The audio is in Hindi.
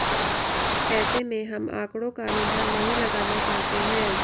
ऐसे में हम आंकड़ों का अनुमान नहीं लगाना चाहते है